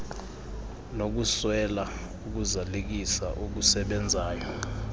nokuswela ukuzalisekisa okusebenzayo